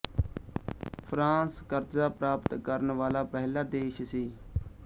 France ਕਰਜ਼ਾ ਪ੍ਰਾਪਤ ਕਰਨ ਵਾਲਾਂ ਪਹਿਲਾ ਦੇਸ਼ ਸੀ